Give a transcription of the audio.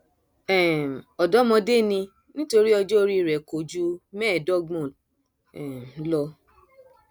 um ọdọmọdé ni nítorí ọjọ orí rẹ kò ju mẹẹẹdọgbọn um lọ